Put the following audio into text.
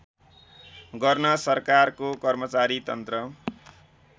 गर्न सरकारको कर्मचारीतन्त्र